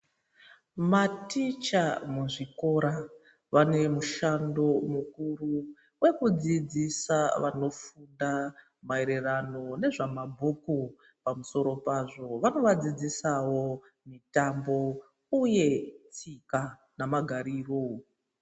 Maticha muzvikora vanemushando mukuru wekudzidzisa vanofunda maererano nezvamabhuku. Pamusoro pazvo vanovadzidzisawo mitombo uye tsika namagariro.